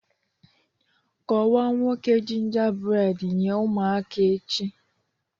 Kọwaa 'Nwoke Gingerbread' nye ụmụaka echi